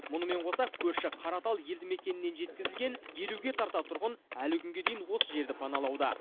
мұнымен қоса көрші қаратал елді мекенінен жеткізілген елуге тарта тұрғын әлі күнге дейін осы жерді паналауда